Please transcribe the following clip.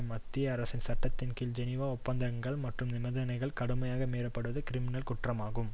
மத்திய அரசின் சட்டத்தின் கீழ் ஜெனீவா ஒப்பந்தங்கள் மற்றும் நிபந்தனைகள் கடுமையாக மீறப்படுவது கிரிமினல் குற்றமாகும்